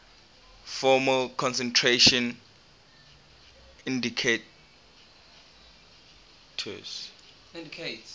formal concentration indicates